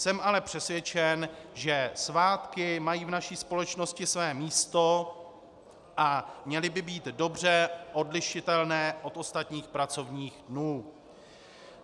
Jsem ale přesvědčen, že svátky mají v naší společnosti své místo a měly by být dobře odlišitelné od ostatních pracovních dnů.